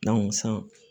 san